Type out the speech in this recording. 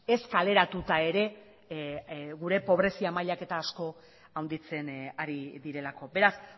ez kaleratuta ere gure pobrezia mailak eta asko handitzen ari direlako beraz